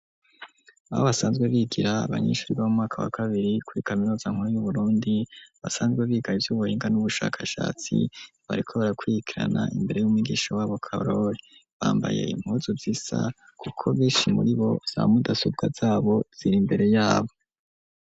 Aho basanzwe bigira abanyeshuri bo mu mwaka wa kabiri, kuri kaminuza nkuru y'uburundi, basanzwe biga ivy'ubuhinga n'ubushakashatsi ,bariko barakwirikirana imbere y'umigisha w'a bo karori bambaye impuzu zisa kuko benshi muri bo, za mudasobwa zabo ziri imbere yabo.